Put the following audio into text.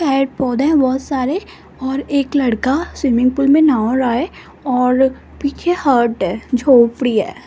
पेड़-पौधे बहुत सारे और एक लड़का स्विमिंग पूल में नहा रहा है और पीछे हट है झोपड़ी है।